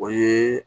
O ye